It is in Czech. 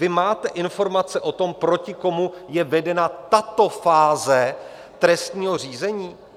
Vy máte informace o tom, proti komu je vedena tato fáze trestního řízení?